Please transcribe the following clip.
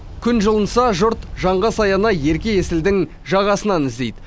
күн жылынса жұрт жанға саяны ерке есілдің жағасынан іздейді